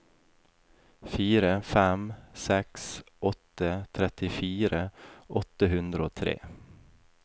fire fem seks åtte trettifire åtte hundre og tre